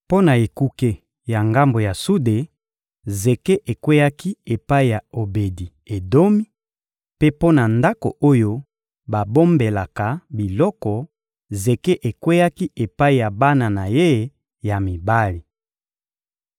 Mpo na ekuke ya ngambo ya sude, zeke ekweyaki epai ya Obedi-Edomi; mpe mpo na ndako oyo babombelaka biloko, zeke ekweyaki epai ya bana na ye ya mibali.